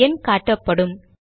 ஒரு எண் காட்டப்படும்